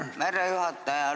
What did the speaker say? Aitäh, härra juhataja!